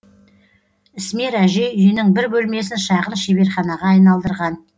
ісмер әже үйінің бір бөлмесін шағын шеберханаға айналдырған